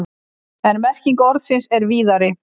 En merking orðsins er víðari.